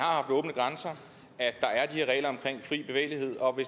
her regler om fri bevægelighed og